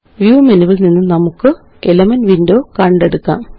Viewമെനുവില് നിന്ന് നമുക്ക് elements window കണ്ടെടുക്കാം